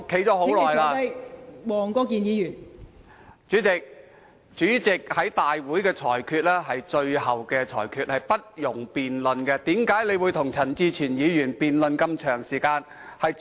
代理主席，主席在大會的裁決是最後的裁決，是不容辯論的，為甚麼你要與陳志全議員辯論這麼久？